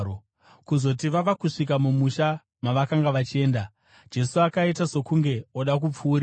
Kuzoti vava kusvika mumusha mavakanga vachienda, Jesu akaita sokunge oda kupfuurira.